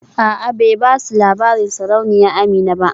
A'a bai basu labarin sarauniya Amina ba